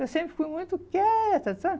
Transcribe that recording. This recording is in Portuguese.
Eu sempre fui muito quieta, sabe?